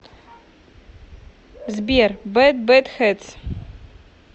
сбер бэд бэд хэтс